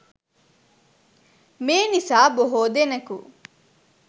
මේ නිසා බොහෝ දෙනකු